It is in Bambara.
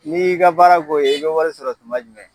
N'i y'i ka baara k'o ye e be wari sɔrɔ tuma jumɛn